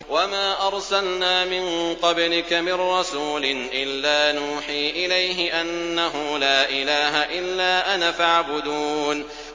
وَمَا أَرْسَلْنَا مِن قَبْلِكَ مِن رَّسُولٍ إِلَّا نُوحِي إِلَيْهِ أَنَّهُ لَا إِلَٰهَ إِلَّا أَنَا فَاعْبُدُونِ